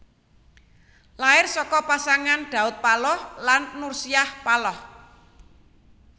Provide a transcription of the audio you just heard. Lair saka pasangan Daud Paloh lan Nursiah Paloh